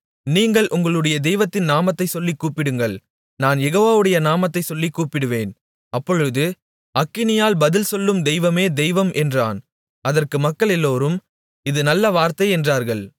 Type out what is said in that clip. நீங்கள் உங்களுடைய தெய்வத்தின் நாமத்தைச் சொல்லிக் கூப்பிடுங்கள் நான் யெகோவாவுடைய நாமத்தைச் சொல்லிக் கூப்பிடுவேன் அப்பொழுது அக்கினியால் பதில் சொல்லும் தெய்வமே தெய்வம் என்றான் அதற்கு மக்களெல்லோரும் இது நல்ல வார்த்தை என்றார்கள்